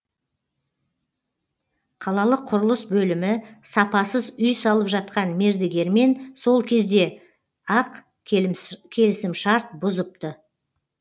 қалалық құрылыс бөлімі сапасыз үй салып жатқан мердігермен сол кезде ақ келісімшарт бұзыпты